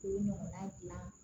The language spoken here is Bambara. K'o ɲɔgɔnna gilan